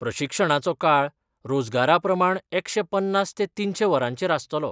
प्रशिक्षणाचो काळ रोजगारा प्रमाण एकशे पन्नास ते तिनशे वरांचेर आसतलो.